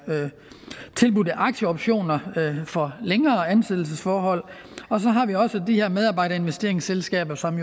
tilbudt aktieoptioner for længere ansættelsesforhold og så har vi også de her medarbejderinvesteringsselskaber som